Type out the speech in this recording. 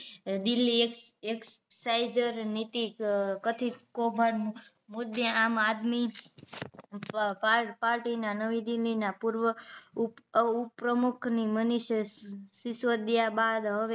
Delhi x એક્સાઇસર નીતિ કથિત કૌભાંડ મુદ્દે આમઆદમી પાર્ટી ના નવી દિલ્લીના પૂર્વ ઉપ ઉપ પ્રમુખની મનીષ સિસોદિયા બાદ હવે